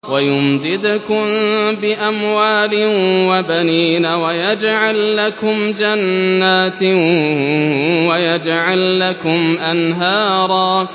وَيُمْدِدْكُم بِأَمْوَالٍ وَبَنِينَ وَيَجْعَل لَّكُمْ جَنَّاتٍ وَيَجْعَل لَّكُمْ أَنْهَارًا